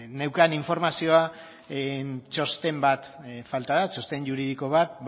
neukan informazioa txosten bat falta da txosten juridiko bat